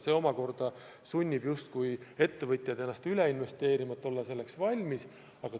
See omakorda sunnib ettevõtjaid nagu üle investeerima, et selleks valmis olla.